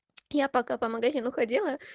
я пока по магазину ходила